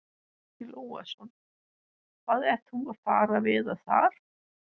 Breki Logason: Hvað ertu að fara að veiða þar?